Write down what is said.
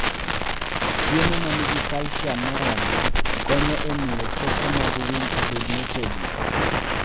Chiemo ma nigi calcium moromo konyo e miyo choke mag winy obed motegno.